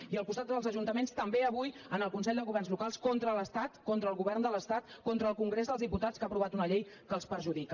i al costat dels ajuntaments també avui en el consell de governs locals contra l’estat contra el govern de l’estat contra el congrés dels diputats que ha aprovat una llei que els perjudica